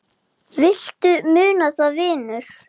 Bjössi var að gabba.